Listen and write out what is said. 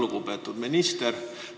Lugupeetud minister!